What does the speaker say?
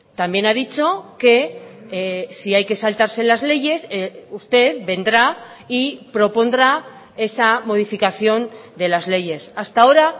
también ha dicho que si hay que saltarse las leyes usted vendrá y propondrá esa modificación de las leyes hasta ahora